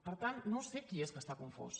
per tant no sé qui és que està confós